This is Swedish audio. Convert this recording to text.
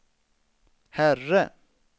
herre